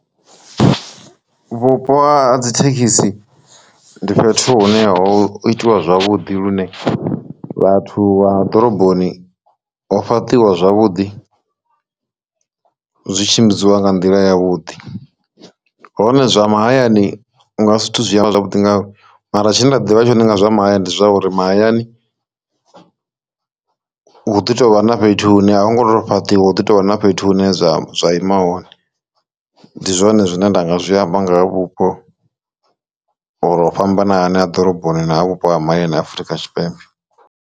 Vhupo ha dzi thekhisi ndi fhethu hune ho itiwa zwavhuḓi lune vhathu vha ḓoroboni ho fhaṱiwa zwavhuḓi zwi tshimbidziwa nga nḓila ya vhuḓi, hone zwa mahayani nga ha zwithu zwiamba zwavhuḓi nga mara tshine nda ḓivha zwone nga zwa mahayani ndi zwauri mahayani hu ḓi tovha na fhethu hune ha hone ngoho fhaṱiwa hu ḓi tovha na fhethu hune zwa zwa ima hone, ndi zwone zwine nda nga zwiamba nga vhupo uri o fhambananaho ha ḓoroboni naa vhupo ha mahayani a Afurika Tshipembe.